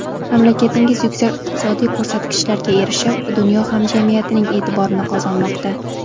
Mamlakatingiz yuksak iqtisodiy ko‘rsatkichlarga erishib, dunyo hamjamiyatining e’tiborini qozonmoqda.